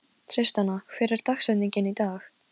Miklu lægra en ég vil muna.